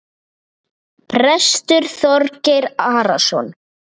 Prestur Þorgeir Arason.